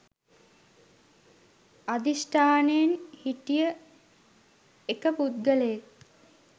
අධිෂ්ඨානයෙන් හිටිය එක පුද්ගලයෙක්.